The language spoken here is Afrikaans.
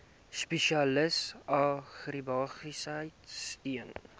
spesialis agribesigheid steun